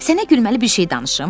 Sənə gülməli bir şey danışım.